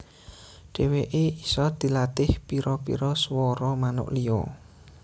Dèwèké isa dilatih pira pira suwara manuk liya